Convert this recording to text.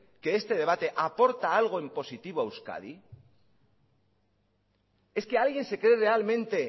que este debate aporta algo en positivo a euskadi es que alguien se cree realmente